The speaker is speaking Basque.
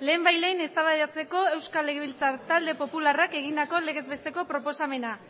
lehenbailehen eztabaidatzeko euskal legebiltzar talde popularrak egindako legez besteko proposamena